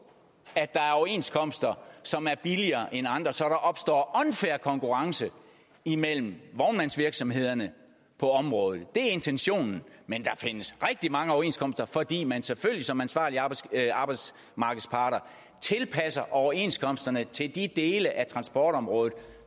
at der er overenskomster som er billigere end andre så der opstår unfair konkurrence imellem vognmandsvirksomhederne på området det er intentionen men der findes rigtig mange overenskomster fordi man selvfølgelig som ansvarlige arbejdsmarkedsparter tilpasser overenskomsterne til de dele af transportområdet